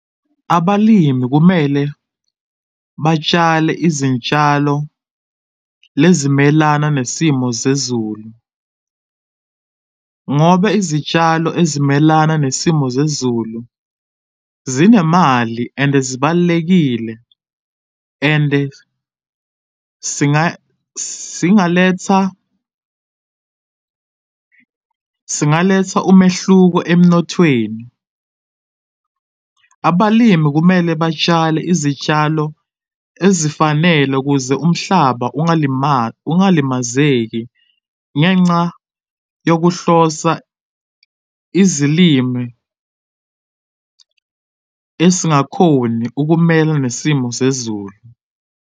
Abalimi kumele batshale izintshalo lezimelana nesimo zezulu, ngoba izitshalo ezimelana nesimo zezulu zinemali and zibalulekile. And singaletha, singaletha umehluko emnothweni. Abalimi kumele batshale izitshalo ezifanele kuze umhlaba ukungalimazeki ngenxa yokuhlosa izilimi esingakhoni ukumela nesimo zezulu.